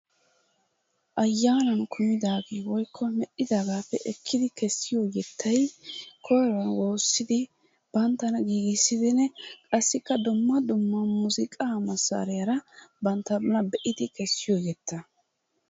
Ayaanan kummidagee woykko me'iidaagaappe ekkidi kesiyo yettatay koyruwan woossidi banttana giggissidinne qassi dumma dumma muuzunqqaa masaariyaara banttana laggeyidi kesiyo yettaa.